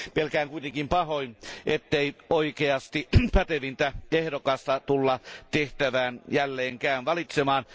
Pelkään kuitenkin pahoin, ettei oikeasti pätevintä ehdokasta tulla tehtävään jälleenkään valitsemaan.